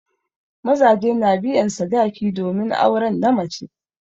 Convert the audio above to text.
Mazaje na biyan sadaki domin auren na mace.